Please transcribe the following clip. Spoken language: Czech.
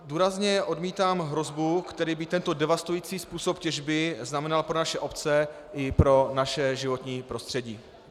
Důrazně odmítám hrozbu, kterou by tento devastující způsob těžby znamenal pro naše obce i pro naše životní prostředí.